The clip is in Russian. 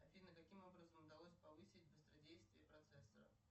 афина каким образом удалось повысить быстродействие процессора